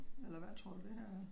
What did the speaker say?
Eller hvad tror du det her er?